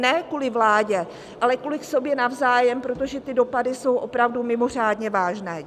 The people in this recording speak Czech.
Ne kvůli vládě, ale kvůli sobě navzájem, protože ty dopady jsou opravdu mimořádně vážné.